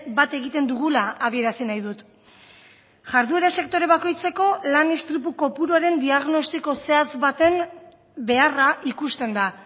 bat egiten dugula adierazi nahi dut jarduera sektore bakoitzeko lan istripu kopuruaren diagnostiko zehatz baten beharra ikusten da